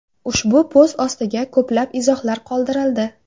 Ushbu post ostiga ko‘plab izohlar qoldirildi.